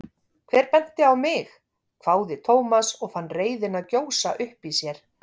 Hver benti á mig? hváði Thomas og fann reiðina gjósa upp í sér.